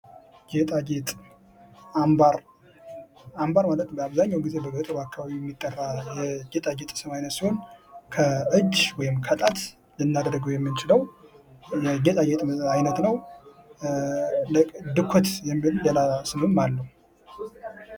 ጌጣ ጌጥ አምባር አምባር ማለት በአብዛኛውን ጊዜ በገጠሩ አካባቢ የሚጠራ የጌጣ ጌጥ አየስም ይነት ሲሆን ከእጅ ወይም ከጣት ልናደርገው የምንችለው ጌጣ ጌጥ አይነት ነው። ድኮት ወይም ሌላ ስምም አለው።